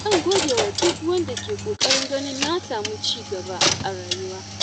Zan godewa duk wanda ke ƙoƙarin ganin na samu ci gaba a rayuwa.